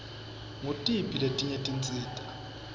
ngutiphi letinye tinsita